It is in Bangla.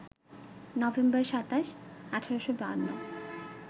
নভেম্বর ২৭, ১৮৫২